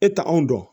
E t'anw dɔn